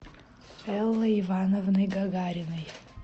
эллой ивановной гагариной